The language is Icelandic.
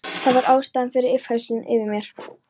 Það var ástæðan fyrir yfirheyrslunni yfir mér.